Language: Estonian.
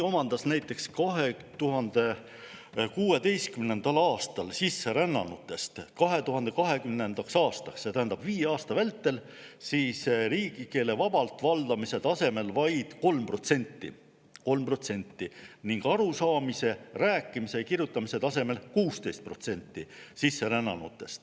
Näiteks 2016. aastal sisserännanutest omandas 2020. aastaks – see tähendab viie aasta vältel – riigikeele vabalt valdamise tasemel vaid 3% ning arusaamise, rääkimise ja kirjutamise tasemel 16%.